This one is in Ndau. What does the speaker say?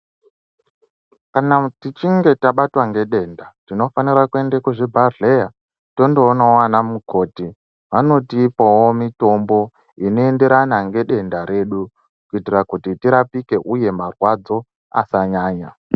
Kana tichinge tabatwa ngedenda tinofanire kuende kuzvibhadhleya tondoonawo ana mukoti vanotipawo mitombo dzinoenderana nedenda redu kiitira kuti tirapike uye marwadzo asanyanya.